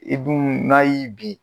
I dun n'a y'i bin